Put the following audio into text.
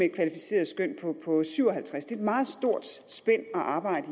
et kvalificeret skøn syv og halvtreds det et meget stort spænd at arbejde